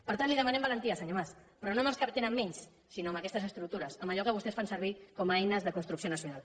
per tant li demanem valentia senyor mas però no amb els que tenen menys sinó amb aquestes estructures amb allò que vostès fan servir com a eines de construcció nacional